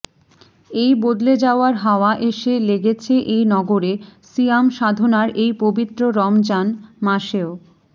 এই বদলে যাওয়ার হাওয়া এসে লেগেছে এই নগরে সিয়াম সাধনার এই পবিত্র রমজান মাসেও